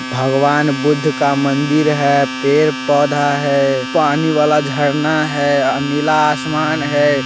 भगवान बुद्ध का मंदिर है पेड़ पौधा है पानी वाला झरना है और नीला आसमान है।